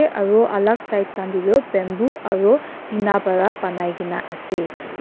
aro alak side khan tae toh bamboo aro tina para banainaase.